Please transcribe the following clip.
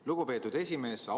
Lugupeetud esimees!